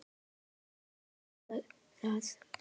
Þú verður að boða það.